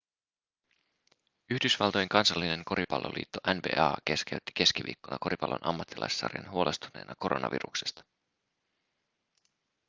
yhdysvaltojen kansallinen koripalloliitto nba keskeytti keskiviikkona koripallon ammattilaissarjan huolestuneena koronaviruksesta